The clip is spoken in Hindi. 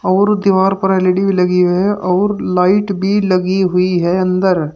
और दीवार पर एल_ई_डी भी लगी हुई है और लाइट भी लगी हुई है अंदर।